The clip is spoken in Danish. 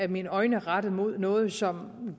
mine øjne rettet mod noget som